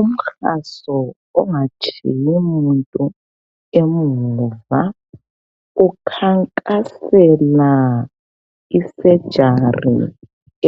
Umkhaso ongatshiyi muntu emuva ukhankasela isejari